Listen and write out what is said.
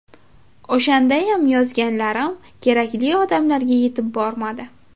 O‘shandayam yozganlarim kerakli odamlarga yetib bormadi.